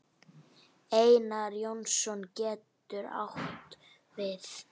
Einar Jónsson getur átt við